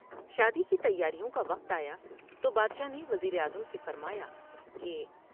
شادی کی تیاریوں کا وقت آیا تو بادشاہ نے وزیراعظم سے فرمایا کہ ۔